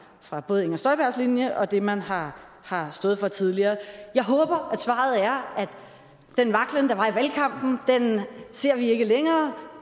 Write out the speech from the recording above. fra både inger støjbergs linje og det man har har stået for tidligere jeg håber at svaret er at den vaklen der var i valgkampen ser vi ikke længere